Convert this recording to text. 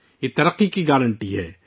یہ ترقی کی ضمانت ہے